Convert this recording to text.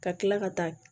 Ka kila ka taa